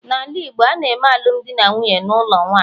n'ala Igbo, a na-eme alụmdi na nwunye n'ụlọ nwanyị